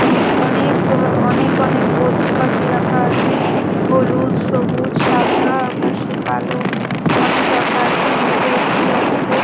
উম অনেক ধ অনেক অনেক বদ্রি পাখি রাখা আছে হলুদ সবুজ সাদা আকাশি কালো অনেক রাখা আছে নিচে একটি বাটিতে--